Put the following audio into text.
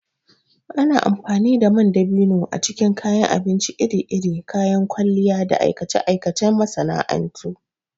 Ana amfani da man dabino a cikin kayan abinci iri-iri, kayan kwalliya, da aikace-aikacen masana'antu.